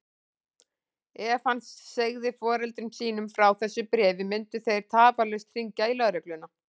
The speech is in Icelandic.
Ef hann segði foreldrum sínum frá þessu bréfi myndu þeir tafarlaust hringja í lögregluna.